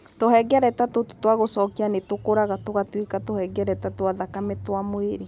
Tũhengereta tũtũ twa gũcokio nĩ tũkũraga tũgatuĩka tũhengereta twa thakame twa mwĩrĩ.